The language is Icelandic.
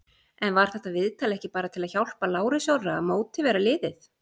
En var þetta viðtal ekki bara til að hjálpa Lárusi Orra að mótivera liðið?